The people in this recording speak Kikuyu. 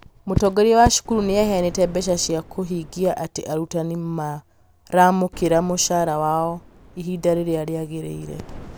mũtongoria wa cukuru nĩ aheanĩte mbeca cia kũhingia atĩ arutani maramũkĩra mũcara wao ihinda rĩrĩa rĩagĩrĩire